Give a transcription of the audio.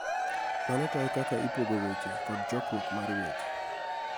Mano tayo kaka ipogo weche kod chokruok mar weche.